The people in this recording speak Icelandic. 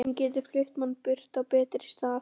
Hún getur flutt mann burt á betri stað.